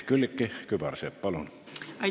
Külliki Kübarsepp, palun!